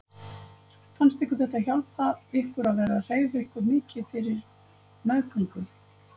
Fannst ykkur þetta hjálpa ykkur að vera að hreyfa ykkur mikið fyrir meðgöngu?